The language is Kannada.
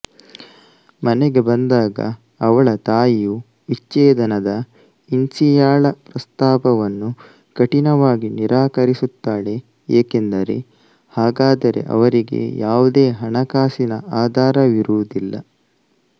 ಮನೆಗೆ ಬಂದಾಗ ಅವಳ ತಾಯಿಯು ವಿಚ್ಛೇದನದ ಇನ್ಸಿಯಾಳ ಪ್ರಸ್ತಾಪವನ್ನು ಕಠಿಣವಾಗಿ ನಿರಾಕರಿಸುತ್ತಾಳೆ ಏಕೆಂದರೆ ಹಾಗಾದರೆ ಅವರಿಗೆ ಯಾವುದೇ ಹಣಕಾಸಿನ ಆಧಾರವಿರುವುದಿಲ್ಲ